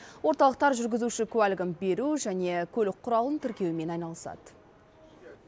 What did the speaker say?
орталықтар жүргізуші куәлігін беру және көлік құралын тіркеумен айналысады